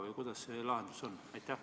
Või milline see lahendus on?